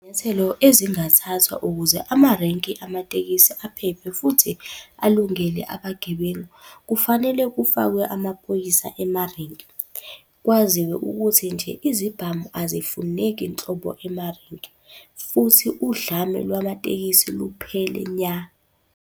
Izinyathelo ezingathathwa ukuze amarenki amatekisi aphephe futhi alungele abagibeli. Kufanele kufakwe amaphoyisa emarenki, kwaziwe ukuthi nje izibhamu azifuneki nhlobo emarenki futhi udlame lwamatekisi luphele nya.